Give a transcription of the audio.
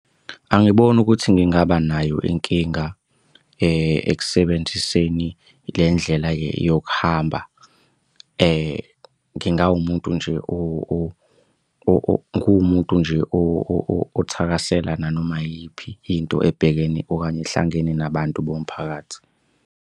Angiboni ukuthi ngingaba nayo inkinga ekusebenziseni le ndlela yokuhamba. Ngingawumuntu nje . Ngiwumuntu nje othakasela nanoma yiyiphi into ebhekene okanye ehlangene nabantu bomphakathi.